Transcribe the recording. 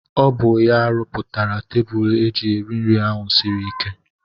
Ọ bụ ya rụpụtara tebụl eji eri nri ahụ siri ike.